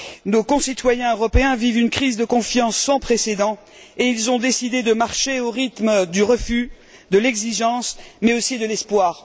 Nos concitoyens européens vivent une crise de confiance sans précédent et ils ont décidé de marcher au rythme du refus, de l'exigence, mais aussi de l'espoir.